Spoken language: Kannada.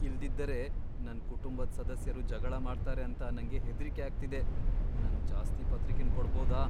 ಇಲ್ದಿದ್ದರೆ ನನ್ ಕುಟುಂಬದ್ ಸದಸ್ಯರು ಜಗಳ ಮಾಡ್ತಾರೆ ಅಂತ ನಂಗೆ ಹೆದ್ರಿಕೆ ಅಗ್ತಿದೆ. ನಂಗ್ ಜಾಸ್ತಿ ಪತ್ರಿಕೆನ್ ಕೊಡಬೋದಾ?